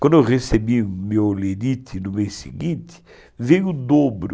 Quando eu recebi meu lirite no mês seguinte, veio o dobro.